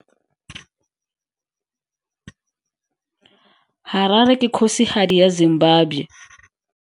Harare ke kgosigadi ya Zimbabwe.